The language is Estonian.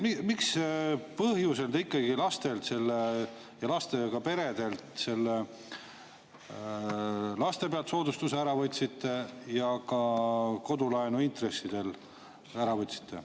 Mis põhjusel te ikkagi lastelt ja lastega peredelt selle laste pealt soodustuse ära võtate, ja ka kodulaenu intresside pealt?